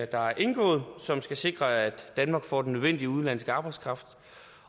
der er indgået som skal sikre at danmark får den nødvendige udenlandske arbejdskraft